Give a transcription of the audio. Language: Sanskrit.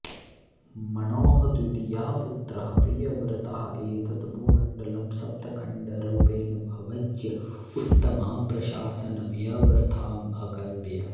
मनोः द्वितीयः पुत्रः प्रियव्रतः एतत् भूमण्डलं सप्त खण्डरुपेण विभज्य उत्तमां प्रशासनव्यवस्थाम् अकल्पयत्